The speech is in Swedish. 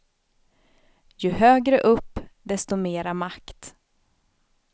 Ju högre upp, desto mera makt.